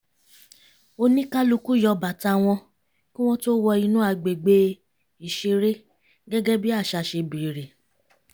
oníkálukú yọ bàtà wọn kí wọ́n tó wọ inú agbègbè ìṣeré gẹ́gẹ́ bí àṣà ṣe bèrè